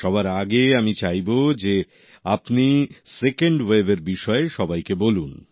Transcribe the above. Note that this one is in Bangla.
সবার আগে আমি চাইবো যে আপনি সেকেন্ড ওয়েভের বিষয়ে সবাইকে বলুন